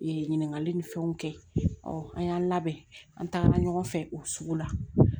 Ɲininkali ni fɛnw kɛ an y'an labɛn an tagara ɲɔgɔn fɛ o sugu la